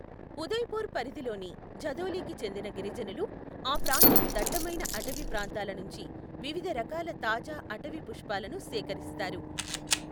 ఉదయపూర్ పరిధిలోని ఝదోలీకి చెందిన గిరిజనులు ఆ ప్రాంతపు దట్టమైన అటవీ ప్రాంతాలనుంచి వివిధ రకాల తాజా అటవీ పుష్పాలను సేకరిస్తారు.